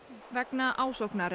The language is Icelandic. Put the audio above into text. vegna ásóknar